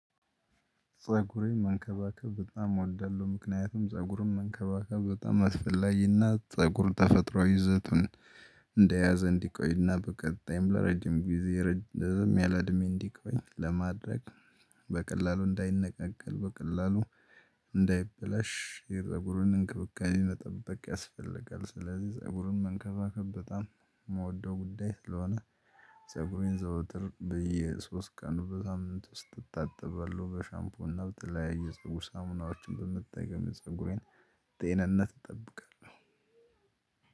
ፀጉሬን መንከባከብ በጣም እወዳለሁ ምክንያቱም ፀጉርን መንከባከብ በጣም አስፈላጊና ፀጉር ተፈጥሮ ይዘቱን እንደያዘ እንዲቆይና በቀጣይም ለረጅም ጊዜ ረዘም ያለ እድሜ እንዲቆይ ለማድረግ በቀላሉ እንዳይነቃቀል በቀላሉ እንዳይበላሽ የፀጉሩን እንክብካቤ መጠበቅ ያስፈልጋል። ስለዚህ ፀጉሩን መንከባከብ በጣም የምወደው ጉዳይ ስለሆነ። ፀጉሬን ዘውትር ብዬ ሶስት ቀኑ በሳምንት ውስጥ እታጥበዋለሁ በሻምፖ እና በተለያዩ የፀጉር ሳሙናዎችን በመጠቀም የጸጉሬን ጤንነት ይጠብቃል።